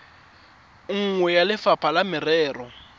nngwe ya lefapha la merero